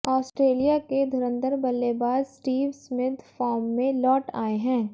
Australia के धुरंधर बल्लेबाज स्टीव स्मिथ फॉर्म में लौट आए हैं